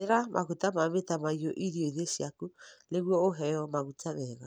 Hũthĩra maguta ma mĩtamaiyũ irio-inĩ ciaku nĩguo ũheo maguta mega.